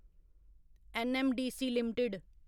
NMDC limited